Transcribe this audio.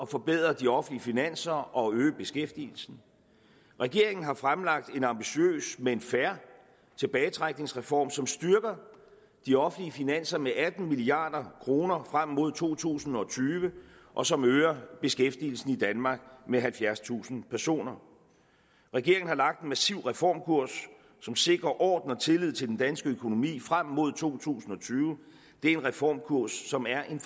forbedre de offentlige finanser og øge beskæftigelsen regeringen har fremlagt en ambitiøs men fair tilbagetrækningsreform som styrker de offentlige finanser med atten milliard kroner frem mod to tusind og tyve og som øger beskæftigelsen i danmark med halvfjerdstusind personer regeringen har lagt en massiv reformkurs som sikrer orden og tillid til den danske økonomi frem mod to tusind og tyve det er en reformkurs som er den